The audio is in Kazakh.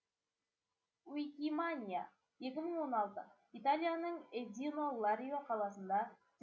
уикиманиа екі мың он алты италияның эзино ларио қаласында